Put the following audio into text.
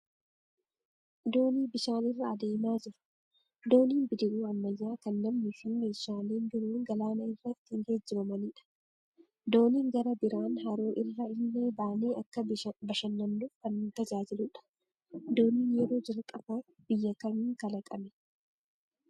Doonii bishaan irra adeemaa jiru. Dooniin bidiruu ammayyaa kan namnii fi meeshaalee biroon galaana irra ittiin geejibamanidha. Dooniin gara biraan haroo irra illee baanee akka bashannannuuf kan nu tajaajiludha. Dooniin yeroo jalqabaaf biyya kamiin kalaqame?